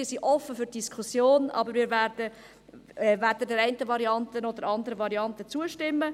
Wir sind offen für die Diskussion, aber wir werden weder der einen noch der anderen Variante zustimmen.